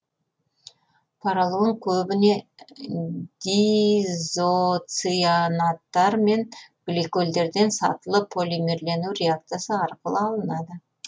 поролон көбіне диизоцианаттар мен гликольдерден сатылы полимерлену реакциясы арқылы алынады